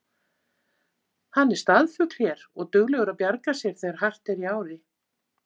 Hann er staðfugl hér og duglegur að bjarga sér þegar hart er í ári.